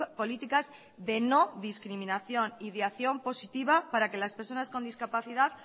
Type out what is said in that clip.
políticas de no discriminación y de acción positiva para que las personas con discapacidad